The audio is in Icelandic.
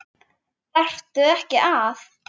Þarftu ekki að?